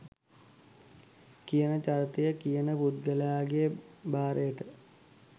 කියන චරිතය .කියන පුද්ගලයාගේ භාරයට